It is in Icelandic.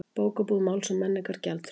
Bókabúð Máls og menningar gjaldþrota